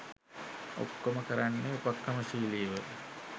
ඔක්කොම කරන්නේ උපක්‍රමශීලීව.